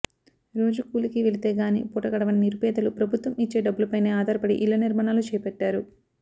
రోజూ కూలికి వెళితేగానీ పూటగడవని నిరుపేదలు ప్రభుత్వం ఇచ్చే డబ్బులపైనే ఆధారపడి ఇళ్ల నిర్మాణాలు చేపట్టారు